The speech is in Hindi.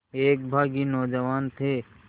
एक बाग़ी नौजवान थे